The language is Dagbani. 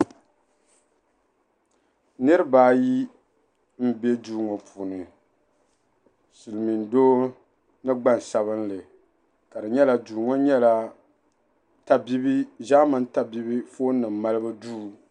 Niriba ayi m-be duu ŋɔ puuni silimiin'doo ni gbaŋ sabinli ka nyɛla duu ŋɔ nyɛla zaamani tabibi fonnima malibu duu.